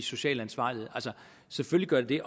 social ansvarlighed altså selvfølgelig gør det